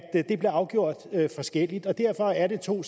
det blev afgjort forskelligt og derfor er det to